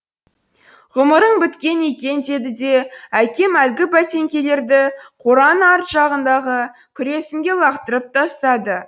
ғұмырың біткен екен деді де әкем әлгі бәтеңкелерді қораның арт жағындағы күресінге лақтырып тастады